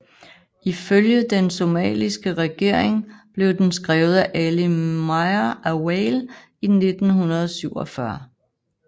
Ifølge den somaliske regering blev den skrevet af Ali Mire Awale i 1947